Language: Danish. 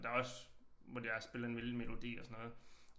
Og der også hvor der er spillet en lille melodi og sådan noget